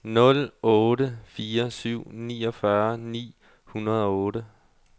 nul otte fire syv niogfyrre ni hundrede og otte